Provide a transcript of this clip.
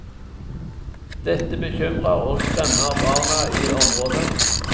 Dette bekymrer og skremmer barna i området.